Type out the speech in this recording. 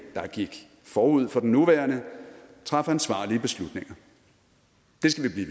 der gik forud for den nuværende traf ansvarlige beslutninger det skal vi